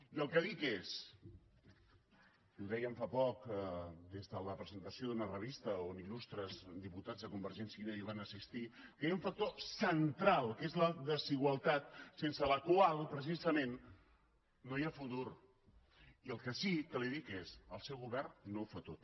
i el que dic és i ho dèiem fa poc des de la presentació d’una revista on il·cia i unió van assistir que hi ha un factor central que és la desigualtat sense la qual precisament no hi ha futur i el que sí que li dic és el seu govern no ho fa tot